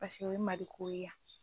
Paseke o ye maliko ye a